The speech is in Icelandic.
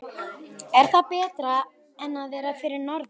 Er það betra en að vera fyrir norðan?